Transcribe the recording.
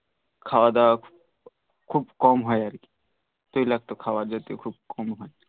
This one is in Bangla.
খাওয়াদাওয়া খুব কম হই আর কি তৈলাক্ত খাবার যেহেতু একটু কম হই